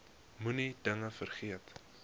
moenie dinge vergeet